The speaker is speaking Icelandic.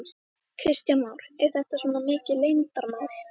Kristján Már: Er þetta svona mikið leyndarmál?